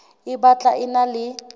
e batla e ena le